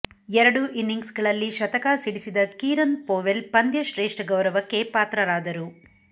ಎರಡೂ ಇನಿಂಗ್ಸ್ಗಳಲ್ಲಿ ಶತಕ ಸಿಡಿಸಿದ ಕೀರನ್ ಪೊವೆಲ್ ಪಂದ್ಯಶ್ರೇಷ್ಠ ಗೌರವಕ್ಕೆ ಪಾತ್ರರಾದರು